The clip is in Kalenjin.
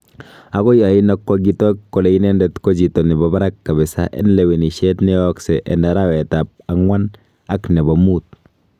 Agoi oino kogitok kole inendet ko chito nebo barak kabisa en lewenishet neyoosyek en arawetab agwan ak nebo muut.